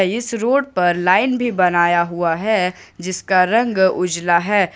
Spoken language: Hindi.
इस रोड पर लाइन भी बनाया हुआ है जिसका रंग उजला है।